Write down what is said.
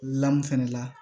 Lamu fɛnɛ la